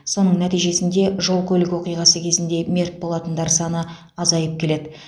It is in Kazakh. соның нәтижесінде жол көлік оқиғасы кезінде мерт болатындар саны азайып келеді